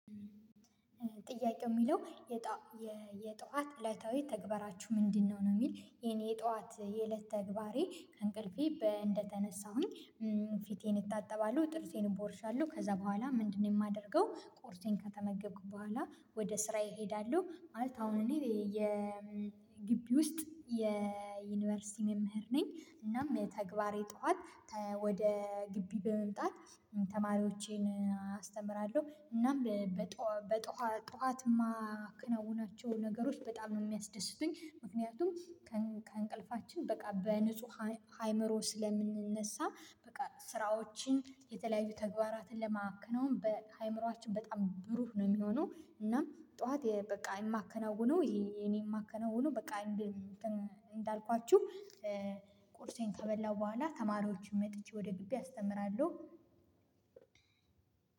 ጥያቄው የሚለው የጠዋት እለታዊ ተግባራችሁ ምንድነው? ነው የሚል የኔ የጠዋት የእለት ተግባሬ ከእንቅልፌ እንደተነሳሁኝ። ፊቴን እታጠባሉ ጥርሴን እቦርሻለሁ ከዛ በኋላ ምንድነው የማደርገው። ቁርሴን ከተመገብኩ በኋላ ወደ ስራዬ እሄዳለሁ። ማለት አሁን እኔ የ የግቢ ውስጥ የዩኒቨርሲቲ መምህር ነኝ። እናም የተግባር የጠዋት ወደ ግቢ በመምጣት ተማሪዎቼን አስተምራለሁ። እናም በጠዋት ማከናወናቸው ነገሮች በጣም ነው የሚያስደስቱኝ። ምክንያቱም ከእንቅልፋችን በቃ በንጹህ አይምሮ ስለምንነሳ በቃ ስራዎችን የተለያዩ ተግባራትን ለማከናወን በአይምሮአችን በጣም ብሩህ ነው የሚሆነው። እናም ጠዋት የማከናውነው የኔን የማከናውነው በቃ እንደ እንዳልኳችሁ ቁርሴን ከበላሁ በኋላ ተማሪዎቹን መጥቼ ወደ ግቢ አስተምራለሁ።